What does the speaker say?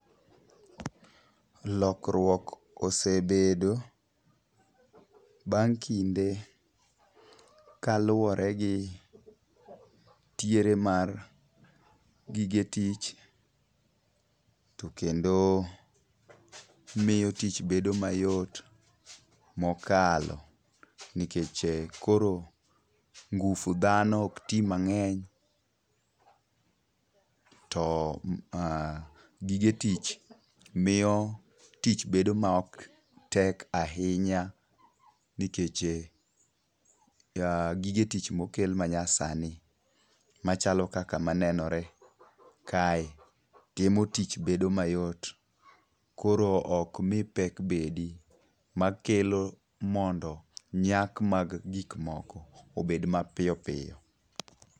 Lokruok osebedo bang' kinde kaluwore gi tiere mar gige tich tokendo miyo tich bedo mayot mokalo. Nikech koro ngufu dhano ok ti mang'eny to gige tich miyo tich bedo maok tek ahinya nikech gige tich mokel manyasani machalo kaka manenore kae timo tich bedo mayot koro ok mi pek bedi makelo mondo nyak mag gigmoko obed mapiyopiyo.